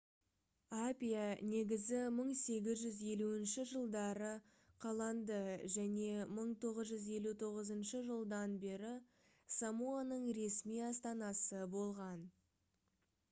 апиа негізі 1850 жылдары қаланды және 1959 жылдан бері самоаның ресми астанасы болған